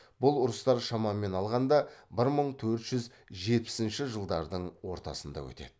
бұл ұрыстар шамамен алғанда бір мың төрт жүз жетпісінші жылдардың ортасында өтеді